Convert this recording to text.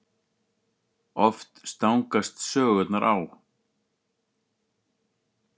Oft stangast sögurnar á.